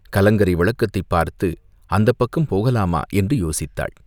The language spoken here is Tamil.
கலங்கரை விளக்கத்தைப் பார்த்து அந்தப் பக்கம் போகலாமா என்று யோசித்தாள்.